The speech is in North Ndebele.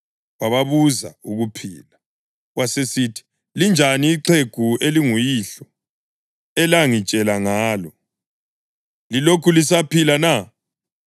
Wababuza ukuphila, wasesithi, “Linjani ixhegu elinguyihlo elangitshela ngalo? Lilokhu lisaphila na?”